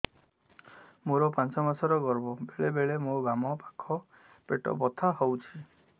ମୋର ପାଞ୍ଚ ମାସ ର ଗର୍ଭ ବେଳେ ବେଳେ ମୋ ବାମ ପାଖ ପେଟ ବଥା ହଉଛି